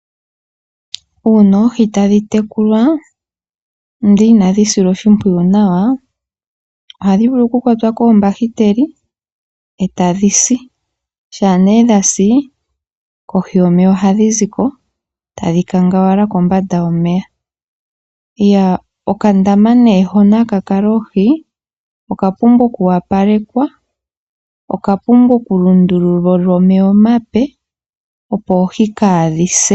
Uuna oohi tadhi tekukwa ndele inadhi silwa oshimpwuyu nawa ohadhi vulu oku kwatwa konyata etadhi si, shampa nee dhasi kohi yomeya ohadhi ziko tadhi kongowala kombanda yomeya. Okandama nee hoka haka kaka oohi okapumbwa okuwapalekwa, okapumbwa okulundululilwa omeya omape opo oohi kadhi se.